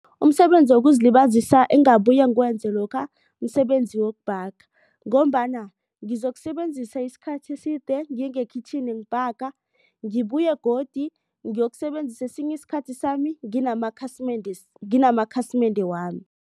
Umsebenzi wokuzilibazisa engabuya ngiwenze lokha msebenzi wokubhaga. Ngombana ngizokusebenzisa isikhathi eside ngiye ngekhitjhini ngibhaga. Ngibuye godu ngiyokusebenzisa esinye isikhathi sami nginamakhasimende wami.